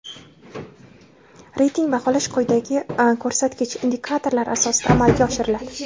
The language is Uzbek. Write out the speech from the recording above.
reyting baholash quyidagi ko‘rsatkich (indikator)lar asosida amalga oshiriladi:.